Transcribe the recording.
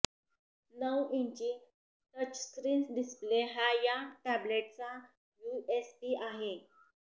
नऊ इंची touch screen display हा या टॅबलेटचा यूएसपी आहे